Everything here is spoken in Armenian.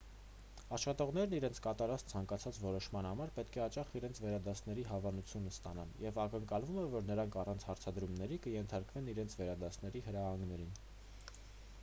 աշխատողներն իրենց կատարած ցանկացած որոշման համար պետք է հաճախ իրենց վերադասների հավանությունն ստանան և ակնկալվում է որ նրանք առանց հարցադրումների կենթարկվեն իրենց վերադասների հրահանգներին